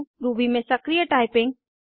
Ruby में सक्रिय typing